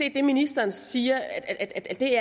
at det ministeren siger